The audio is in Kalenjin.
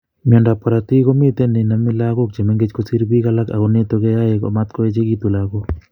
Myondo ab korotik komiten nenome lagok chemengech kosir big alak ago nitok koyoe amat koechekitun lagok